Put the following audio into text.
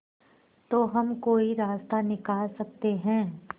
तो हम कोई रास्ता निकाल सकते है